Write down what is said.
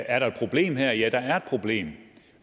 er der et problem her ja der er et problem